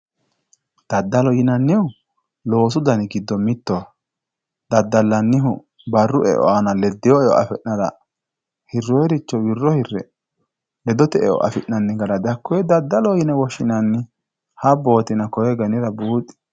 Daddalo yinannihu loosu dani giddo mittoho daddalanihu barru eo aana ledino eo affi'nara hironiricho wiro hire ledote eo affi'nanni gara hakkone didaddaloho yine woshshinanni habbotina koyi kaira buuxi.